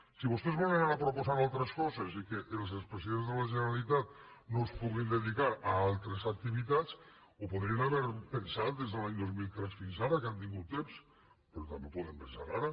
si vostès volen ara proposar altres coses i que els expresidents de la generalitat no es puguin dedicar a altres activitats ho podrien haver pensat des de l’any dos mil tres fina ara que han tingut temps però també ho poden pensar ara